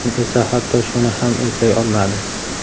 Men esa hatto shuni ham eplay olmadim..